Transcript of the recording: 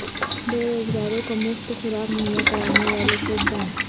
بے روزگاروں کو مفت خوراک مہیا کرنے والے فوڈ بینک